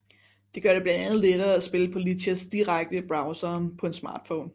Det gør det blandt andet lettere at spille på Lichess direkte i browseren på en smartphone